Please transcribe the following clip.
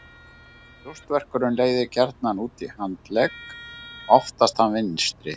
Brjóstverkurinn leiðir gjarnan út í handlegg, oftast þann vinstri.